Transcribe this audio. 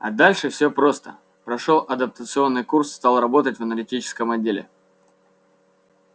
а дальше всё просто прошёл адаптационный курс стал работать в аналитическом отделе